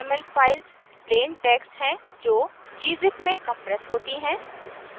vrml files plain text हैं जो gzip में compress होती हैं